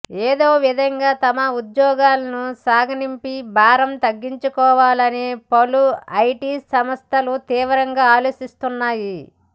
ఏదో విధంగా తమ ఉద్యోగులను సాగనంపి భారం తగ్గించుకోవాలని పలు ఐటి సంస్థలు తీవ్రంగా ఆలోచిస్తున్నాయి